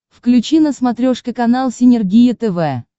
включи на смотрешке канал синергия тв